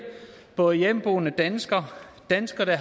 både hjemmeboende danskere danskere der